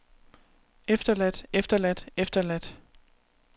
efterladt efterladt efterladt